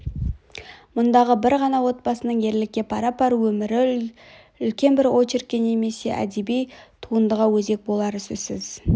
мұндағы бір ғана отбасының ерлікке пара-пар өмірі үлкен бір очеркке немесе әдеби туындыға өзек болар сөзсіз